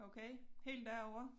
Okay helt derovre?